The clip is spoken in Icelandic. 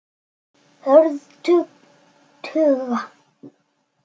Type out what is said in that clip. Hörð tugga.